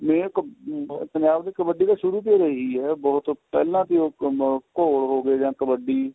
ਇਹ ਕੀ ਪੰਜਾਬ ਦੀ ਕਬੱਡੀ ਤਾਂ ਸ਼ੁਰੂ ਤੋਂ ਹੀ ਹੈਗੀ ਏ ਬਹੁਤ ਪਹਿਲਾਂ ਤੇ ਹੀ ਘੋਲ ਹੋ ਗਏ ਜਾਂ ਕਬੱਡੀ